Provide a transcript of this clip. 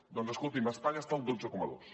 doncs escoltin espanya està al dotze coma dos